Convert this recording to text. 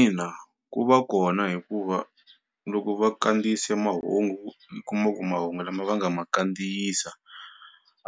Ina ku va kona hikuva loko va kandziyise mahungu u kuma ku mahungu lama va nga ma kandziyisa